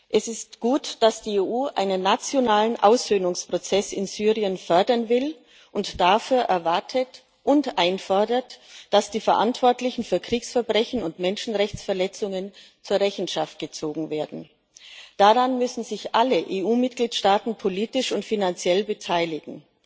Es ist gut, dass die EU einen nationalen Aussöhnungsprozess in Syrien fördern will und dafür erwartet und einfordert, dass die Verantwortlichen für Kriegsverbrechen und Menschenrechtsverletzungen zur Rechenschaft gezogen werden. Daran müssen sich alle EU Mitgliedstaaten politisch und finanziell beteiligen.